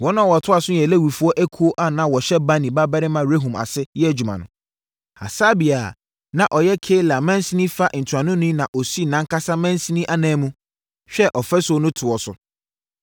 Wɔn a wɔtoa so yɛ Lewifoɔ ekuo a na wɔhyɛ Bani babarima Rehum ase yɛ adwuma no. Hasabia a, na ɔyɛ Keila mansini fa ntuanoni no na ɔsii nʼankasa mansini ananmu, hwɛɛ ɔfasuo no toɔ so.